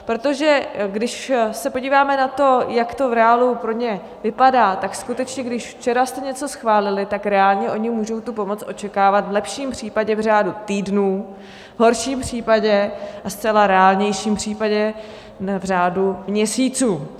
Protože když se podíváme na to, jak to v reálu pro ně vypadá, tak skutečně když včera jste něco schválili, tak reálně oni můžou tu pomoc očekávat v lepším případě v řádu týdnů, v horším případě a zcela reálnějším případě v řádu měsíců.